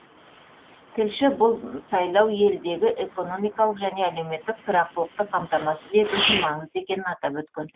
тілші бұл сайлау елдегі экономикалық және әлеуметтік тұрақтылықты қамтамасыз ету үшін маңызды екенін атап өткен